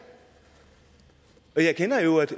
og jeg kender jo